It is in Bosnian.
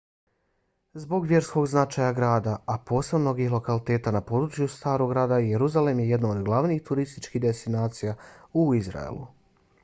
zbog vjerskog značaja grada a posebno mnogih lokaliteta na području starog grada jerusalem je jedno od glavnih turističkih destinacija u izraelu